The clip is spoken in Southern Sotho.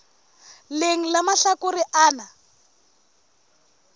leng la mahlakore ana a